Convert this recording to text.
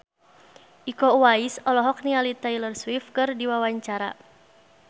Iko Uwais olohok ningali Taylor Swift keur diwawancara